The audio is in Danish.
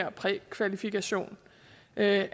om prækvalifikation af